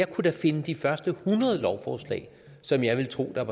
kunne da finde de første hundrede lovforslag som jeg vil tro at